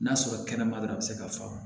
N'a sɔrɔ kɛnɛma dɔrɔn a bɛ se ka fa